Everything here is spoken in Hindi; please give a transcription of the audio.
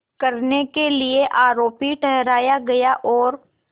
करने के लिए आरोपी ठहराया गया और